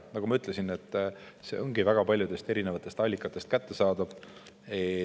Nagu ma ütlesin, see ongi väga paljudest erinevatest allikatest kättesaadav.